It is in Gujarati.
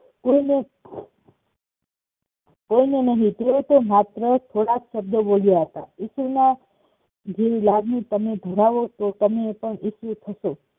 કોઈનો કોઈનો નહિ તે તો માત્ર થોડાક શબ્દો બોલ્યા હતા ઈશુના જેવી લાગણી તમે ધરાવો તો તમે પણ સુખી થશો